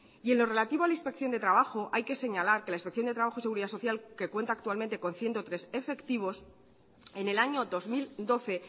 en lo relativo a la inspección de trabajo hay que señalar que la inspección de trabajo y seguridad social que cuenta actualmente con ciento tres efectivos en el año dos mil doce